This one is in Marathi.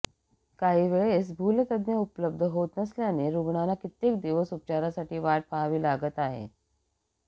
काही वेळेस भूलतज्ज्ञ उपलब्ध होत नसल्याने रुग्णांना कित्येक दिवस उपचारासाठी वाट पाहवी लागत आहे